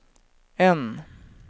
N